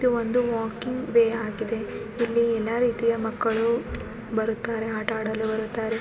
ಇದು ಒಂದು ವಾಕಿಂಗ್ವೇ ಆಗಿದೆ. ಇಲ್ಲಿ ಎಲ್ಲ ರೀತಿಯ ಮಕ್ಕಳು ಬರುತ್ತಾರ ಆಟ ಆಡಲು ಬರುತ್ತಾರೆ.